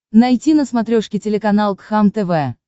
найти на смотрешке телеканал кхлм тв